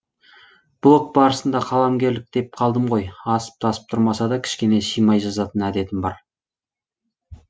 блог барысында қаламгерлік деп қалдым ғой асып тасып тұрмаса да кішкене шимай жазатын әдетім бар